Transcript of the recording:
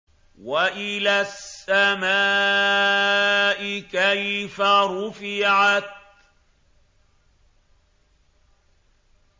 وَإِلَى السَّمَاءِ كَيْفَ رُفِعَتْ